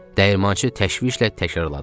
Dəyirmançı təşvişlə təkrarladı.